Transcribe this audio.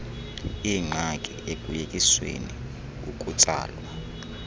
ingxaki ekuyekiseni ukutsalwa